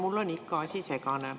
Mulle on ikka asi segane.